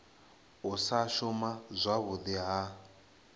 u sa shuma zwavhudi ha